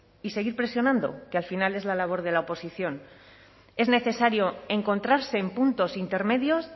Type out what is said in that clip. y seguir presionando que al final es la labor de la oposición es necesario encontrarse en puntos intermedios